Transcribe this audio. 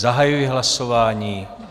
Zahajuji hlasování.